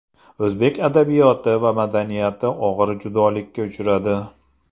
O‘zbek adabiyoti va madaniyati og‘ir judolikka uchradi.